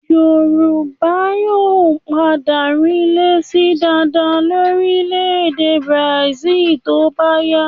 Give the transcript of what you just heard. Yorùbá yóò padà rinlẹ̀ síi dáadáa lórílẹ̀-èdè Brazil tó bá yá.